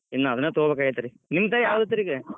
ಇನ್ ಅದನ್ನ ತೊಗೋಬೇಕಾಗೇತ್ರಿ, ನಿಮ್ದ್ ಯಾವ್ದ್ ಐತ್ರಿ ಈಗ?